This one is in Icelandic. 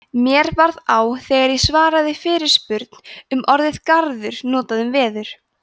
mér varð á þegar ég svaraði fyrirspurn um orðið garður notað um veður